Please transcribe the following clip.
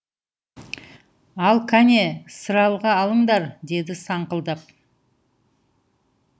ал кәне сыралғы алыңдар деді саңқылдап